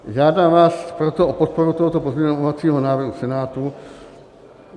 Žádám vás proto o podporu tohoto pozměňovacího návrhu Senátu.